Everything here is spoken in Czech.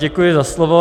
Děkuji za slovo.